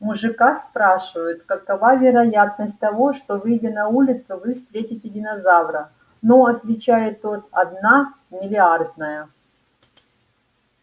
мужика спрашивают какова вероятность того что выйдя на улицу вы встретите динозавра ну отвечает тот одна миллиардная